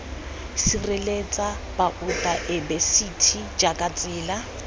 sireletsa baotaebesithi jj jaaka tsela